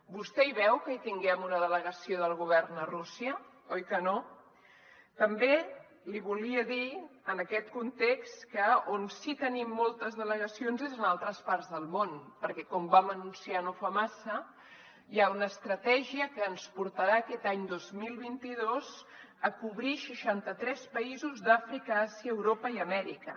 vostè veu que hi tinguem una delegació del govern a rússia oi que no també li volia dir en aquest context que on sí que tenim moltes delegacions és en altres parts del món perquè com vam anunciar no fa massa hi ha una estratègia que ens portarà aquest any dos mil vint dos a cobrir seixanta tres països d’àfrica àsia europa i amèrica